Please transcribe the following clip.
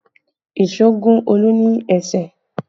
Èso gún Olu ní ẹsẹ̀